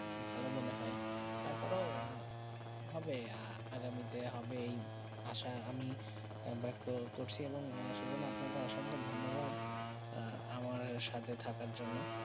ভালো মনে হয়ে তার পরে হবে আগামী তে হবে যে আসা আমি ব্যক্ত করছি এবং সুজন আপনা কে অসংখ ধন্যবাদ আহ আমার সাথে থাকা জন্য